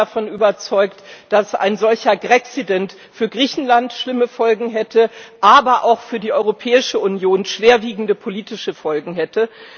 Ich bin davon überzeugt, dass ein solcher Graccident für Griechenland schlimme Folgen hätte, aber auch für die Europäische Union schwerwiegende politische Folgen hätte.